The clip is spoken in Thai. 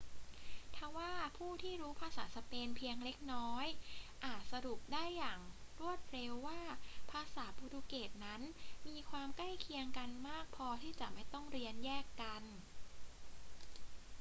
ทว่าผู้ที่รู้ภาษาสเปนเพียงเล็กน้อยอาจสรุปได้อย่างรวดเร็วว่าภาษาโปรตุเกสนั้นมีความใกล้เคียงกันมากพอที่จะไม่ต้องเรียนแยกกัน